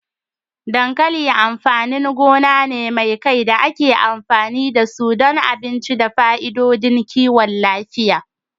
Dankali amfanin gona ne mai kai da ake amfani da su don abinci da fa'idodin kiwon lafiya.